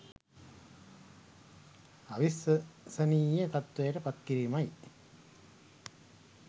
අවිශ්වසනීය තත්වයට පත් කිරීමයි.